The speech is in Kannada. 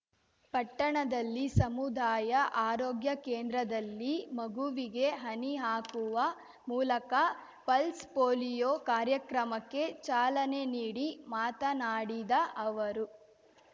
ಪಟ್ಟಣದಲ್ಲಿ ಸಮುದಾಯ ಆರೋಗ್ಯ ಕೇಂದ್ರದಲ್ಲಿ ಮಗುವಿಗೆ ಹನಿ ಹಾಕುವ ಮೂಲಕ ಪಲ್ಸ್ ಪೋಲಿಯೋ ಕಾರ್ಯಕ್ರಮಕ್ಕೆ ಚಾಲನೆ ನೀಡಿ ಮಾತನಾಡಿದ ಅವರು